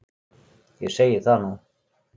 Ég segi það nú!